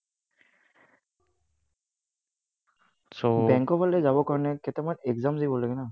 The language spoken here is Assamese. বেংকৰ ফালে যাবৰ কাৰণে কেইটামান exams দিব লাগে ন?